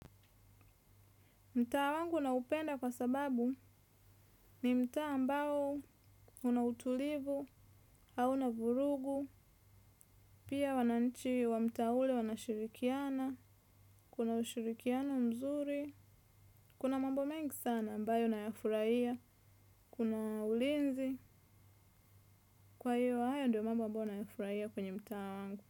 Mtaa wangu naupenda kwa sababu ni mtaa ambao unautulivu, hauna vurugu, pia wananchi wa mtaa ule wanashirikiana, kuna ushirikiano mzuri, kuna mambo mengi sana ambayo nayafurahia, kuna ulinzi kwa hiyo haya ndio mambo ambayo nayafurahia kwenye mtaa wangu.